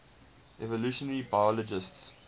evolutionary biologists